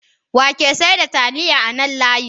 Wake seda taliya a nan layin?